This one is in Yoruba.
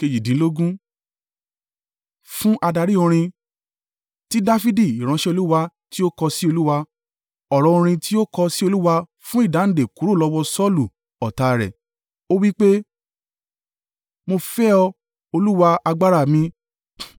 Fún adarí orin. Ti Dafidi ìránṣẹ́ Olúwa tí ó kọ sí Olúwa, ọ̀rọ̀ orin tí ó kọ sí Olúwa fún ìdáǹdè kúrò lọ́wọ́ Saulu ọ̀tá rẹ̀. Ó wí pé. Mo fẹ́ ọ, Olúwa, agbára mi.